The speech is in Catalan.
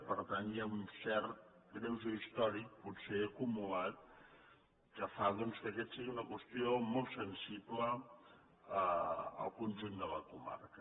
per tant hi ha un cert greuge històric potser acumulat que fa doncs que aquesta sigui una qüestió molt sensible al conjunt de la comarca